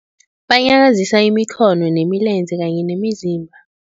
Banyakazisa imikhono nemilenze kanye nemizimba.